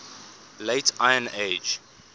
late iron age